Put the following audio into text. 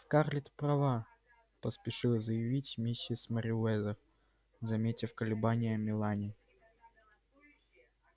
скарлетт права поспешила заявить миссис мерриуэзер заметив колебания мелани